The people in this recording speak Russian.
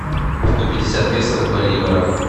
сто пятьдесят песо в боливарах